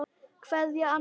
Kveðja, Anna Lóa.